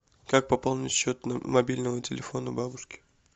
как пополнить счет мобильного телефона бабушки